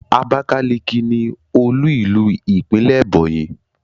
Abakaliki ni olú ìlú ìpínlẹ̀ Ebonyi.